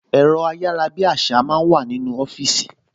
Ẹ̀rọ ayárabíàṣá máa ń wà nínú ọfíìsì